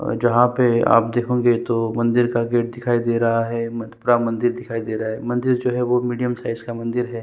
और जहाँ पे आप देखोगे तो मंदिर का गेट दिखाई दे रहा है ए पूरा मंदिर दिखाई दे रहा है मंदिर जो है वो मीडियम साइज़ का मंदिर है।